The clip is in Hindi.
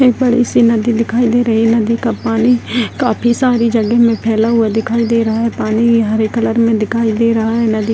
यहाँ बड़ी सी नदी दिखाई दे रही है नदी का पानी काफी सारी जगह में फैला हुआ दिखाई दे रहा है पानी हरे कलर में दिखाई दे रहा है। नदी --